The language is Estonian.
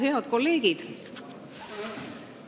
Head kolleegid!